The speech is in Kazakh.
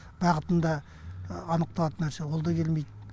бағытын да анықталатын нәрсе ол да келмейді